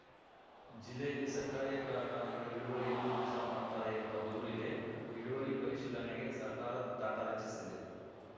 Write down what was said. ಜಿಲ್ಲೆಯಲ್ಲಿ ಸಕ್ಕರೆ ಕಾರ್ಖಾನೆಗಳು ಇಳುವರಿಯಲ್ಲೂ ಮೋಸ ಮಾಡ್ತಾರೆ ಎನ್ನುವ ದೂರು ಇದೆ ಇಳುವರಿ ಪರಿಶೀಲನೆಗೆ ಸರ್ಕಾರ ತಂಡ ರಚಿಸಿದೆ